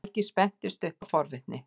Helgi spennist upp af forvitni.